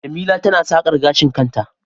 jemila tana sakar gashin kanta